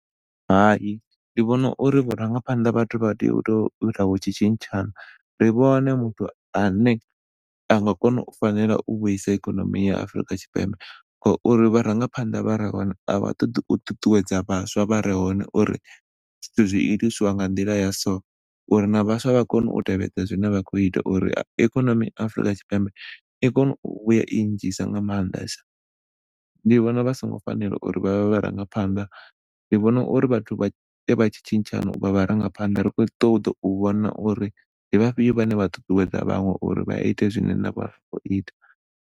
Hai, ndi vhona uri vhurangaphanḓa vhathu vha tea u to ita vhatshi tshitshana ri vhone muthu ane anga fanela u vhuisa ikonomi ya Afrika Tshipembe ngauri vharangaphanḓa a vha ṱoḓi u ṱuṱuwedza vhaswa vhare hone uri zwithu zwi itiswa nga nḓila ya so, uri na vhaswa vha kone u tevhedza zwine vha khou ita uri ikonomi Afrika Tshipembe i kone u vhuya i nnzhisa nga maanḓesa. Songo fanela uri vha vhe vharangaphanḓa, ndi vhona uri vhathu vha ite vha tshitshana u vha vharangaphanḓa ri khou ṱoḓa u vhona uri ndi vhafhio vhane vha ṱuṱuwedza vhaṅwe uri vhaite zwine vha khou ita.